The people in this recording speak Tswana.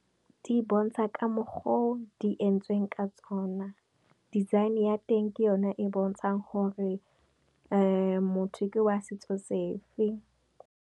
Di bontsha ka mokgwa o di entsweng ka tsona, design ya teng ke yone e bontshang gore motho ke wa setso sefe.